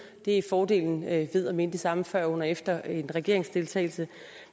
det er fordelen ved at mene det samme før under og efter en regeringsdeltagelse